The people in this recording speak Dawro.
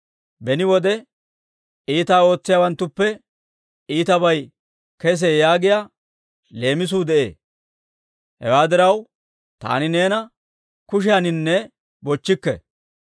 Beni wode, Iitaa ootsiyaawanttuppe iitabay kesee yaagiyaa leemisuu de'ee; hewaa diraw, taani neena kushiyaaninne bochchikke.